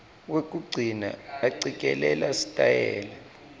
wekugcina acikelela sitayela